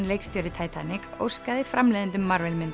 leikstjóri óskaði framleiðendum